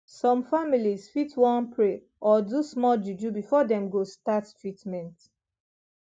some families fit wan pray or do small juju before dem go start treatment